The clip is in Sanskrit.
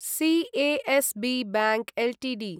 CSB bank Ltd